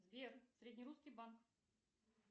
сбер среднерусский банк